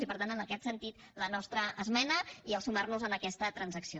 i per tant en aquest sentit la nostra esmena i sumar nos a aquesta transacció